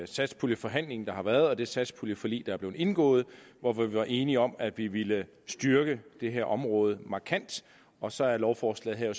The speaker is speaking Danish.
satspuljeforhandling der har været og af det satspuljeforlig der er blevet indgået hvor vi var enige om at vi ville styrke det her område markant og så er lovforslaget her